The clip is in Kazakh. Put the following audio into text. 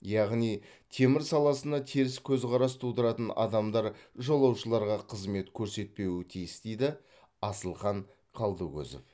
яғни темір саласына теріс көзқарас тудыратын адамдар жолаушыларға қызмет көрсетпеуі тиіс дейді асылхан қалдыкөзов